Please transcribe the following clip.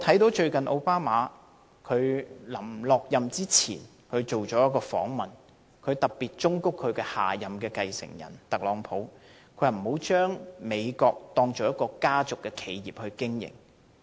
奧巴馬卸任前接受了一個訪問，他特別忠告下任繼承人特朗普不要將美國當作家族企業來經營。